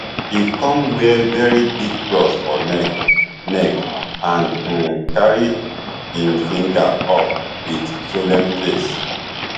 e come wear very big cross for neck neck and um carry im finger up wit solemn face